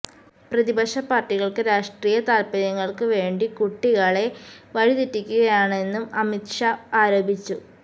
പ്രതിപക്ഷ പാര്ട്ടികള് രാഷ്ട്രീയ താല്പര്യങ്ങള്ക്ക് വേണ്ടി കുട്ടികളെ വഴിതെറ്റിക്കുകയാണെന്നും അമിത് ഷാ ആരോപിച്ചു